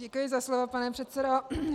Děkuji za slovo, pane předsedo.